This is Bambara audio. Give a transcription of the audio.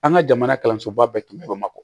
An ka jamana kalansoba bɛɛ tun bɛ mako